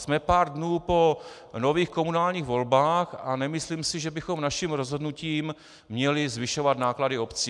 Jsme pár dnů po nových komunálních volbách a nemyslím si, že bychom naším rozhodnutím měli zvyšovat náklady obcí.